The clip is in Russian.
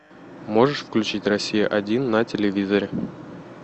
можешь включить россия один на телевизоре